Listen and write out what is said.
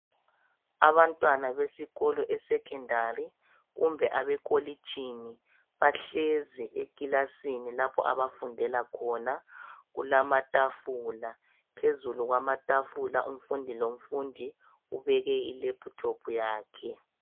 Abantwana besikolo e secondary kumbe abekolitshini bahlezi ekilasini lapho abafundela khona kulamatafula phezulu kwamatafula umfundi lomfundi ubeke i laptop yakhe.